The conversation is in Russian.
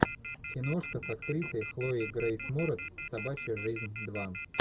киношка с актрисой хлоей грейс морец собачья жизнь два